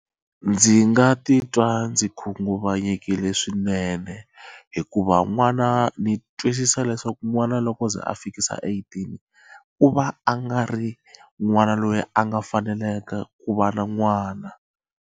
Ndzi nga titwa ndzi khunguvanyekile swinene hikuva n'wana ndzi twisisa leswaku n'wana loko se a fikisa eighteen ku va a nga ri n'wana loyi a nga faneleke ku va na n'wana.